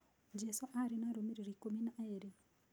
Jesu aarĩ na arũmĩrĩri ikũmi na eerĩ.